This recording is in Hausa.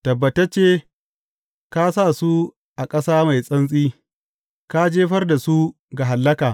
Tabbatacce ka sa su a ƙasa mai santsi; ka jefar da su ga hallaka.